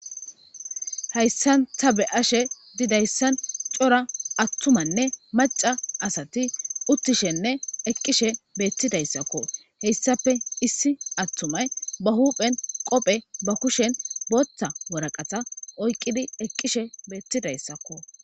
hayssan ta be'ashe didayssan cora attumanne maca asati uttishenne eqqishe beettidayssakko heyssape issi attumay ba huuphen qophe ba kushen bootta woraqata oyqqidi eqqishe beettidayssakko